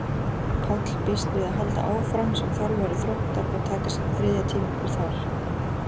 Páll býst við að halda áfram sem þjálfari Þróttar og taka sitt þriðja tímabil þar.